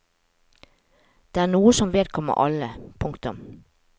Det er noe som vedkommer alle. punktum